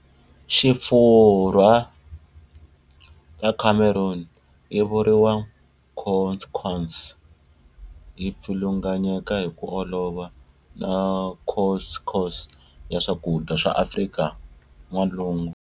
Xifurwa ta Cameroon, yivuriwa""couscous"", yi pfilunganyeka hiku olova na couscous ya swakudya swa Afrika N'walungu